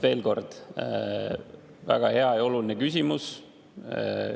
Veel kord: väga hea ja oluline küsimus.